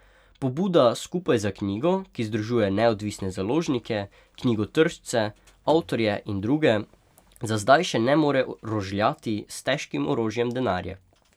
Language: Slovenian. Pobuda Skupaj za knjigo, ki združuje neodvisne založnike, knjigotržce, avtorje in druge, za zdaj še ne more rožljati s težkim orožjem denarja.